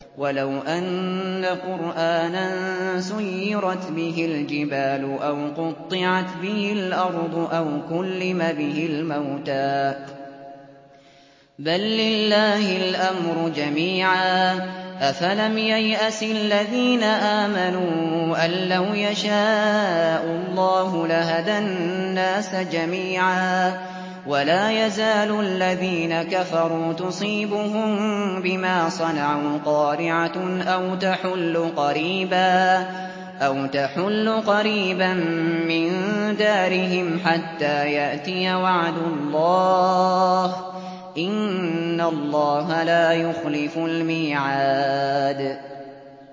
وَلَوْ أَنَّ قُرْآنًا سُيِّرَتْ بِهِ الْجِبَالُ أَوْ قُطِّعَتْ بِهِ الْأَرْضُ أَوْ كُلِّمَ بِهِ الْمَوْتَىٰ ۗ بَل لِّلَّهِ الْأَمْرُ جَمِيعًا ۗ أَفَلَمْ يَيْأَسِ الَّذِينَ آمَنُوا أَن لَّوْ يَشَاءُ اللَّهُ لَهَدَى النَّاسَ جَمِيعًا ۗ وَلَا يَزَالُ الَّذِينَ كَفَرُوا تُصِيبُهُم بِمَا صَنَعُوا قَارِعَةٌ أَوْ تَحُلُّ قَرِيبًا مِّن دَارِهِمْ حَتَّىٰ يَأْتِيَ وَعْدُ اللَّهِ ۚ إِنَّ اللَّهَ لَا يُخْلِفُ الْمِيعَادَ